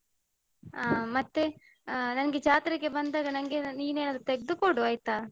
ಅ ಮತ್ತೆ ಅ ನನ್ಗೆ ಜಾತ್ರೆಗೆ ಬಂದಾಗ ನಂಗೆ ಏನಾದ್ರು ನೀನ್ ಏನಾದ್ರು ತೆಗ್ದುಕೊಡು ಆಯ್ತಾ?